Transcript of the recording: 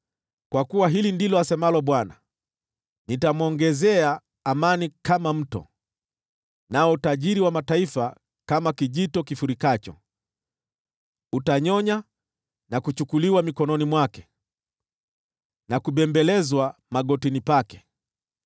Kwa kuwa hili ndilo asemalo Bwana : “Nitamwongezea amani kama mto, nao utajiri wa mataifa kama kijito kifurikacho; utanyonya na kuchukuliwa mikononi mwake na kubembelezwa magotini pake.